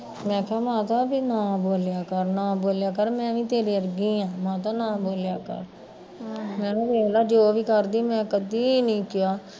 ਮੈਂ ਕਿਹਾ ਮਾਤਾ ਵੇ ਨਾ ਬੋਲਿਆ ਕਰ ਨਾ ਬੋਲਿਆ ਕਰ, ਮੈਂ ਵੀ ਤੇਰੇ ਵਰਗੀ ਆ ਮਾਤਾ ਨਾ ਬੋਲਿਆ ਕਰ ਹਮ ਮੈਂ ਕਿਹਾ ਦੇਖਲਾ ਜੋ ਵੀ ਕਰਦੀ ਆ ਮੈਂ ਕਦੀ ਨੀ ਕਿਹਾ